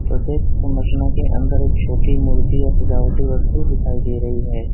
प्रत्येक संरचना के अंदर एक छोटी मूर्ति या सजावटी वस्तु दिखाई दे रही है।